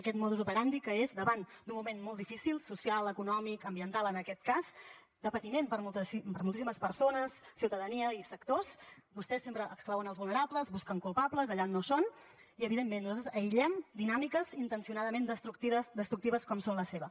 aquest modus operandi que és davant d’un moment molt difícil social econòmic ambiental en aquest cas de patiment per a moltíssimes persones ciutadania i sectors vostès sempre exclouen els vulnerables busquen culpables allà on no hi són i evidentment nosaltres aïllem dinàmiques intencionadament destructives com són la seva